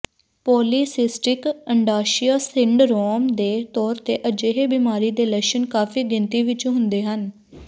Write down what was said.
polycystic ਅੰਡਾਸ਼ਯ syndrome ਦੇ ਤੌਰ ਤੇ ਅਜਿਹੇ ਬਿਮਾਰੀ ਦੇ ਲੱਛਣ ਕਾਫ਼ੀ ਗਿਣਤੀ ਵਿੱਚ ਹੁੰਦੇ ਹਨ